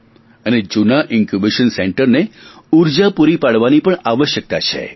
અને જૂના ઇન્કયૂબેશન સેન્ટરને ઊર્જા પૂરી પાડવાની પણ આવશ્યકતા છે